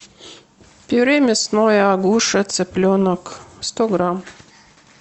пюре мясное агуша цыпленок сто грамм